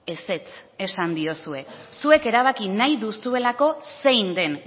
ezetz esan diozue zuek erabaki nahi duzuelako zein den